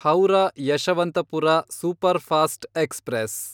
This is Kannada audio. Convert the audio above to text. Howrah Yesvantpur superfast express